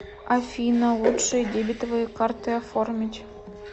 афина лучшие дебетовые карты оформить